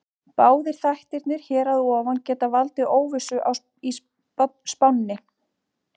Báðir þættirnir hér að ofan geta valdið óvissu í spánni.